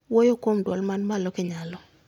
Wuoyo kuom dwol man malo ka inyalo